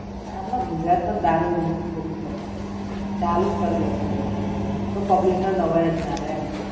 આપણા ગુજરાત માં દારૂ બાંધી જ ખોટી છે પણ. ચાલુ જ કર દેવું જોઈએ. તો public ને નવાઈ જ ના રેય એમ.